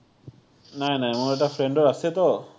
নাই নাই, মোৰ এটা friend ৰ আছেটো।